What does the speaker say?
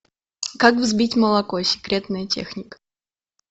как взбить молоко секретная техника